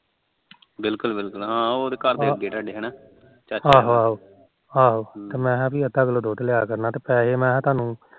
ਅਹੋ ਅਹੋ ਪੀ ਮੈ ਕਿਹਾ ਅੱਧਾ ਕਿਲੋ ਦੁੱਧ ਲਿਆ ਕਰਨਾ ਪੀ ਪੈਹੇ ਮੈ ਥਾਨੂੰ